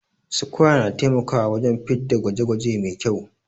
sukwaya na taimakawa wajen fitda gwaje gwaje Mai kyau